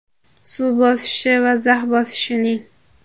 suv bosishi va zax bosishining;.